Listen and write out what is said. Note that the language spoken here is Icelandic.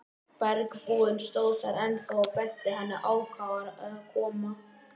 Bergbúinn stóð þar ennþá og benti henni ákafur að koma.